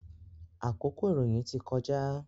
Àkókò ìròyìn ti kọjá.